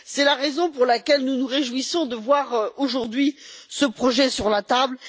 C'est la raison pour laquelle nous nous réjouissons de voir aujourd'hui ce projet sur la table.